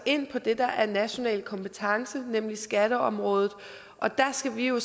ind på det der er national kompetence nemlig skatteområdet og der skal vi jo